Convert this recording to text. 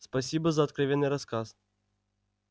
спасибо за откровенный рассказ